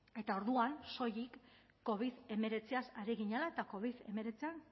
eta orduan soilik covid hemeretziaz ari ginela eta covid hemeretzian